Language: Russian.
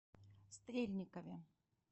стрельникове